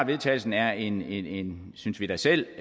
vedtagelse er en synes vi da selv